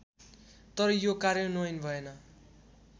तर यो कार्यान्वयन भएन्